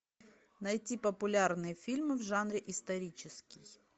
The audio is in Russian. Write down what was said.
найти популярные фильмы в жанре исторический